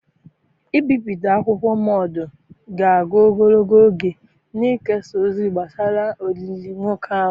Ibipụta akwụkwọ mmado ga-aga ogologo oge na-ekesa ozi gbasara olili nwoke ahụ.